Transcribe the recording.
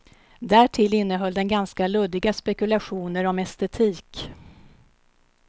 Därtill innehöll den ganska luddiga spekulationer om estetik.